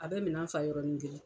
A bɛ minan fa yɔrɔnin kelen.